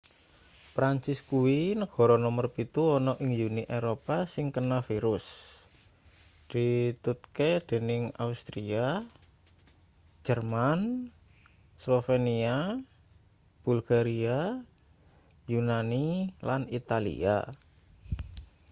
perancis kuwi negara nomer pitu ana ning uni eropa sing kena virus ditutke dening austria jerman slovenia bulgaria yunani lan italia